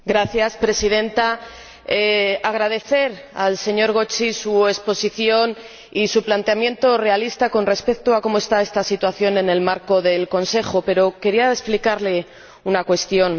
Señora Presidenta, quisiera agradecer al señor Gozi su exposición y su planteamiento realista con respecto a cómo está esta situación en el marco del Consejo, pero quería explicarle una cuestión.